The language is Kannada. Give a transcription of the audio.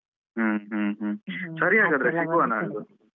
ಹ್ಮ ಹ್ಮ ಹ್ಮ ಸರಿ ಹಾಗಾದ್ರೆ ಸಿಗುವ ನಾಡ್ದು.